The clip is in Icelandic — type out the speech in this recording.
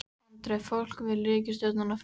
Andri: Fólk vill ríkisstjórnina frá?